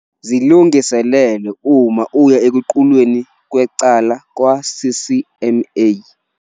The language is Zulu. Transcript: Zilungiselele uma uya ekuqulweni kwecala kwa-CCMA